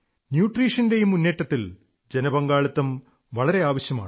ന്യൂട്രീഷന്റെ ഈ മുന്നേറ്റത്തിന്റെ ജനപങ്കാളിത്തം വളരെ ആവശ്യമാണ്